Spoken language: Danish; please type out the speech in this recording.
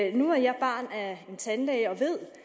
’erne nu er jeg barn af en tandlæge og ved